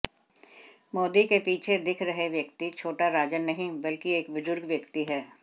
मोदी के पीछे दिख रहे व्यक्ति छोटा राजन नहीं बल्कि एक बुजुर्ग व्यक्ति हैं